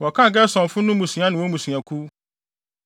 Wɔkan Gersonfo no mmusua ne wɔn mmusuakuw.